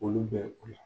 Olu bɛ la